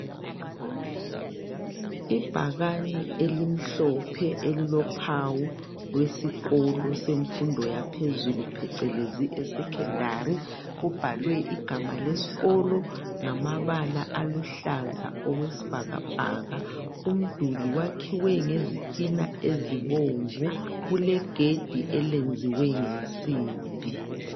Ibhakane elimhlophe elilophawu lwesikolo semfundo yaphezulu phecelezi esecondary kubhalwe igama lesikolo ngamabala aluhlaza okwesibhakabhaka. Umduli uyakhiwe ngezitina ezibomvu, kulegedi elenziwe ngensimbi.